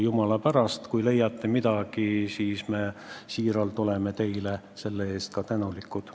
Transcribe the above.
Jumala pärast, kui te leiate midagi, siis me oleme teile selle eest siiralt tänulikud.